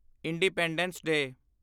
independence ਡੇ